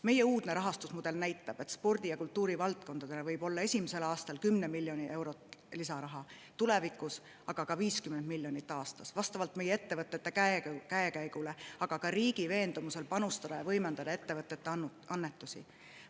Meie uudne rahastusmudel näitab, et spordi‑ ja kultuurivaldkonnale võib esimesel aastal tulla 10 miljonit eurot lisaraha, tulevikus aga ka 50 miljonit aastas, vastavalt meie ettevõtete käekäigule, aga ka riigi veendumusele, et on vaja panustada ja võimendada ettevõtete annetusi.